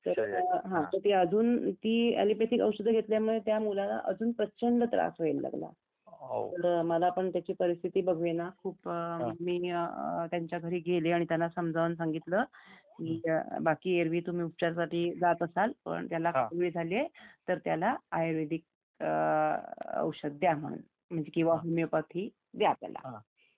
तर ते अजून ती ऍलोपॅथिक औषधे घेतल्याने त्या मुलाला अजून प्रचंड त्रास व्हायला लागला मला पण त्याची परिस्थिती बघवेना खूप मी त्यांच्या घरी गेले आणि त्यांना समजावून सांगितलं बाकी एरवी तुम्ही उपचारासाठी जात असाल तर त्याला आयुर्वेदिक औषध द्या म्हणून किंवा होमिओपॅथी द्या त्याला